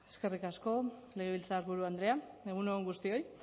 eskerrik asko legebiltzarburu andrea egun on guztioi